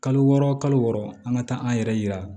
Kalo wɔɔrɔ kalo wɔɔrɔ an ka taa an yɛrɛ yira